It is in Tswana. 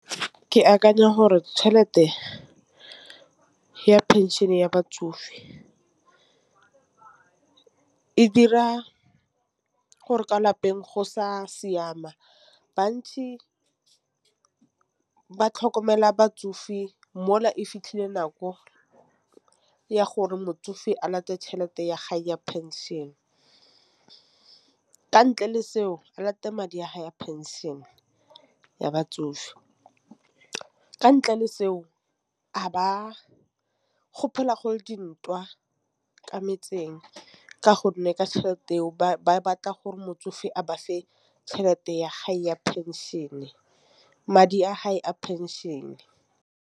Ke akanya gore tšhelete ya phenšene ya batsofe. E dira gore kwa lapeng go sa siama, bantsi ba tlhokomela batsofe di mola e fitlhile nako ya gore motsofe a late tšhelete ya gago ya pension. Ka ntle le seo a late madi a ha ya pension ya batsofe, ka ntle le seo a ba go phela gole dintwa ka metseng ka gonne ka tšhelete eo ba batla gore motsofe a bafe tšhelete ya hae ya pension madi a hae a pension.